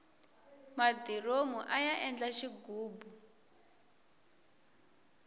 madiromu aya endla xighubu